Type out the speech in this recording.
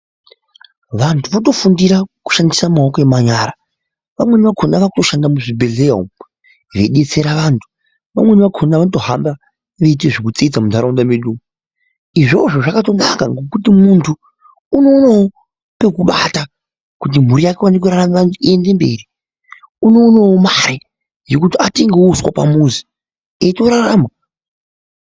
Vantu vanofundira maoko emanyara vamwemi zvakona vanoshanda muzvibhehleya umu veidetsera vantu vamwemi vakona vanotohamba veiita zvekutsetsa munharaunda medu izvozvo munhtu unoonawo pekubata kuti mburi yake Ione kurarama kuti iende mberi aonewo mare eitorarama.